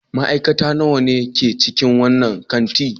Ma'aikata nawa ne ke cikin wannan kanti?